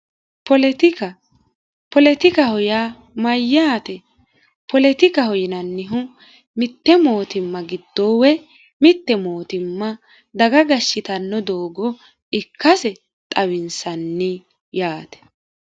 Poletika poletikaho yaa mayyaate poletikaho yinannihu mitte mootimma giddoo woy mitte mootimma daga gashshitanno doogo ikkase xawinsanni yaate